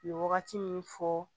U ye wagati min fɔ